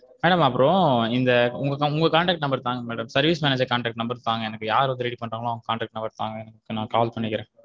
Madam அப்புறம் இந்த உங்க contect number தாங்க madam service manager contact number தாங்க யாரு வந்து ready பன்றான்களோ அவுங்க contect number தாங்க நா அப்புறம் call பண்ணிக்குறேன்.